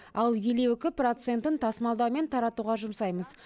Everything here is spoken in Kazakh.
ал елу екі процентін тасымалдау мен таратуға жұмсаймыз